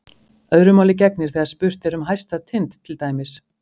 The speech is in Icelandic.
Öðru máli gegnir þegar spurt er um hæsta tind til dæmis.